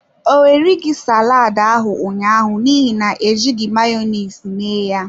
Ọ erighi saladi ahụ ụnyaahụ n’ihi na ejighị Mayonezi me ya.